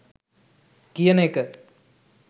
කියන එක.